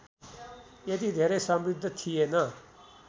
यति धेरै समृद्ध थिएन